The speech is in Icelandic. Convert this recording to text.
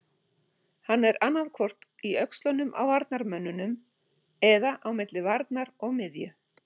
Hann er annaðhvort í öxlunum á varnarmönnunum eða á milli varnar og miðju.